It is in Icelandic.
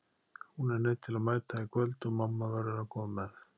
Hún er neydd til að mæta í kvöld og mamma verður að koma með.